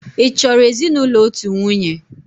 Ị chọrọ ezinụlọ otu nwunye?